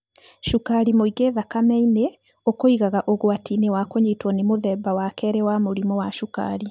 Cukari mũingĩ thakame-inĩ ukũigaga ũgwati-inĩ wa kũnyitwo nĩ mũthemba wa kerĩ wa mũrimũ wa cukari.